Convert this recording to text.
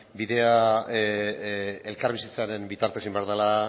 bidea elkarbizitzaren bitartez egin behar dela